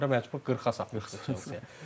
Axırda məcbur 40-a satıb.